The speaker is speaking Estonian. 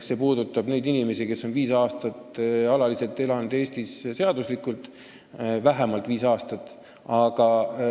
See puudutab neid inimesi, kes on vähemalt viis aastat alaliselt ja seaduslikult Eestis elanud.